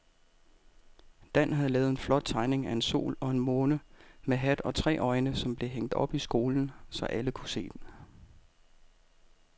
Dan havde lavet en flot tegning af en sol og en måne med hat og tre øjne, som blev hængt op i skolen, så alle kunne se den.